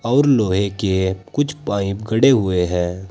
और लोहे के कुछ पाइप खड़े हुए हैं।